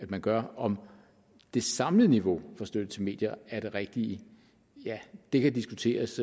man gør om det samlede niveau for støtte til medier er det rigtige ja det kan diskuteres